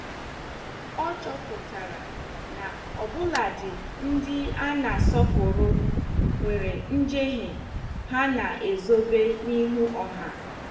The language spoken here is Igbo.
Ọ chọpụtara na ọbuladi ndị a na -asọpụrụ nwere njehie ha na -ezobe n'ihu ọha.